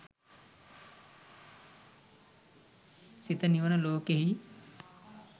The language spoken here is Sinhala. සිත නිවන ලෝකයෙහි